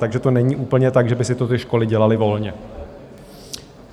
Takže to není úplně tak, že by si to ty školy dělaly volně.